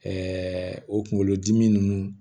o kunkolodimi ninnu